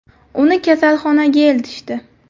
Uni kasalxonaga eltishdi.